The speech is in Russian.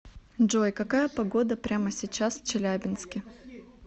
джой какая погода прямо сейчас в челябинске